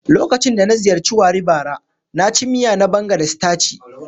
Lokacin da na ziyarci Warri bara, na ci miya na banga da sitaci.